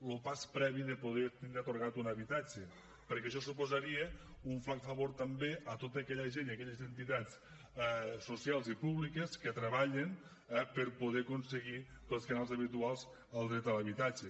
lo pas previ de poder tindre atorgat un habitatge perquè això suposaria un flac favor també a tota aquella gent i a aquelles entitats socials i públiques que treballen per poder aconseguir pels canals habituals el dret a l’habitatge